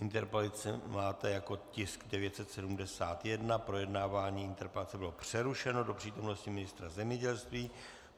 Interpelaci máte jako tisk 971, projednávání interpelace bylo přerušeno do přítomnosti ministra zemědělství.